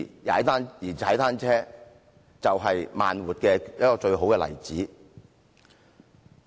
而踏單車便是"慢活"的一個最佳例子。